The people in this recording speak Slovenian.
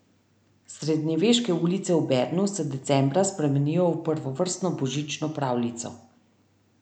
Srednjeveške ulice v Bernu se decembra spremenijo v prvovrstno božično pravljico.